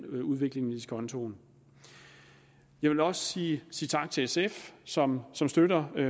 udviklingen i diskontoen jeg vil også sige sige tak til sf som støtter